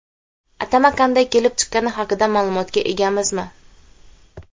Atama qanday kelib chiqqani haqida ma’lumotga egamizmi?